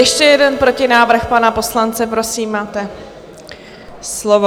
Ještě jeden protinávrh pana poslance, prosím, máte slovo.